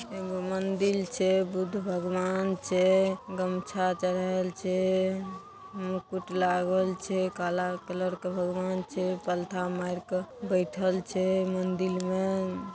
एगो मंदिर छै बुद्ध भगवान छै गमछा चरहेल छै मुकुट लागल छै काला कलर के भगवान छै पालथा मार के बैठएल छै मंदिर मे ।